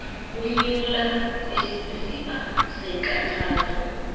kumnyula kwisiziba seenkathazo